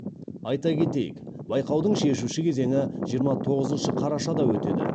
айта кетейік байқаудың шешуші кезеңі жиырма тоғызыншы қарашада өтеді